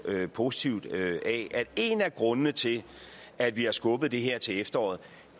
positivt af at en af grundene til at vi har skubbet det her til efteråret